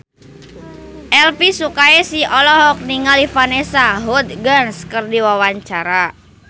Elvy Sukaesih olohok ningali Vanessa Hudgens keur diwawancara